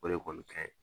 O de kɔni kaɲi